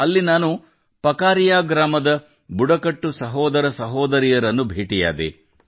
ಅಲ್ಲಿ ನಾನು ಪಕಾರಿಯಾ ಗ್ರಾಮದ ಬುಡಕಟ್ಟು ಸಹೋದರ ಸಹೋದರಿಯರನ್ನು ಭೇಟಿಯಾದೆ